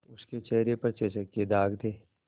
उसके चेहरे पर चेचक के दाग थे